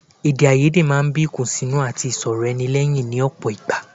Èdèàìyedè máa ń bí ìkùnsínú àti ìṣòrọ̀ ara ẹni lẹ́yìn ní ọ̀pọ̀ ìgbà